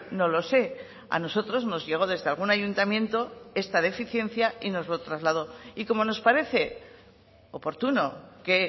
no lo sé a nosotros nos llegó desde algún ayuntamiento esta deficiencia y nos lo trasladó y como nos parece oportuno que